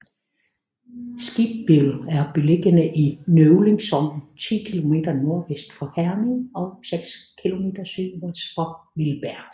Skibbild er beliggende i Nøvling Sogn 10 kilometer nordvest for Herning og seks kilometer sydøst for Vildbjerg